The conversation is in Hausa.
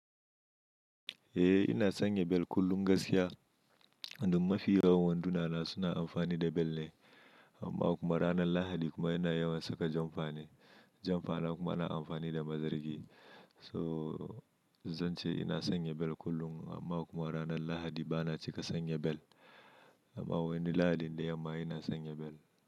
Eh ina sanya bel kullum gaskiya. Don mafi yawan wanduna na suna amfani da bel ne. Amma kuma ranar Lahadi kuma yana yawan saka janfa ne. Janfa na kuma ana amfani da mazargi. So zan ce ina sanya bel kullum amma kuma ranar Lahadi bana cika sanya bel. Amma wani lahadi da yamma ina sanya bel.